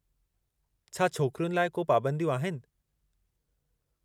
छा छोकिरियुनि लाइ को पाबंदियूं आहिनि?